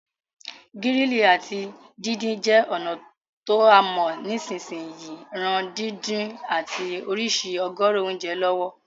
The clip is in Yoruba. Grilling áti díndin je ònà to a mo nisínsìn yìí ran dídún àti ìsrísí ọ̀gọ̀rọ̀ ounje lọ̀wọ̀